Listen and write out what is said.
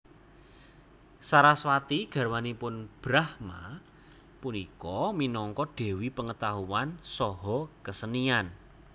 Saraswati garwanipun Brahma punika minangka dewi pengetahuan saha kesenian